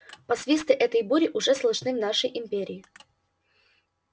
посвисты этой бури уже слышны в нашей империи